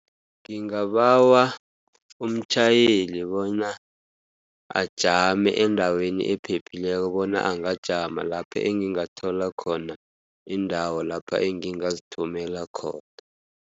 Ngingabawa umtjhayeli bona ajame endaweni ephephileko bona angajama, lapho engingathola khona indawo lapho engingazithumela khona.